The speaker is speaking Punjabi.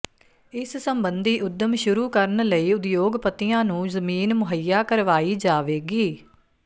ਇਸ ਸਬੰਧੀ ਉੱਦਮ ਸ਼ੁਰੂ ਕਰਨ ਲਈ ਉਦਯੋਗਪਤੀਆਂ ਨੂੰ ਜ਼ਮੀਨ ਮੁਹੱਈਆ ਕਰਵਾਈ ਜਾਵੇਗੀ